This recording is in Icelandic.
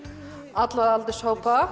alla aldurshópa